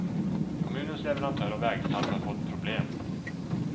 Kommunens leverantör av vägsalt har fått problem.